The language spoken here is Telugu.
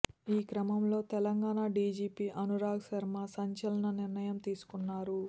ఈ క్రమంలో తెలంగాణ డిజిపి అనురాగ్ శర్మ సంచలన నిర్ణయం తీసుకున్నారు